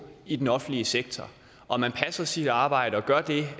i den offentlige sektor og man passer sit arbejde og gør det